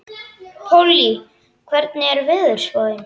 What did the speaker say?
Pollý, hvernig er veðurspáin?